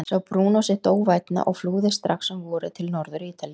Sá Brúnó sitt óvænna og flúði strax um vorið til Norður-Ítalíu.